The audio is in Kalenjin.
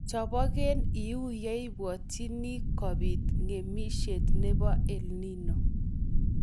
Chobgei iuu yeibwotjini kobiit ng'emisiet neibu EL Nino